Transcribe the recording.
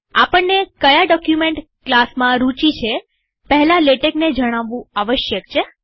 આપણને કયા ડોક્યુમેન્ટ ક્લાસમાં રૂચી છે પહેલા લેટેકને જણાવવું આવશ્યક છે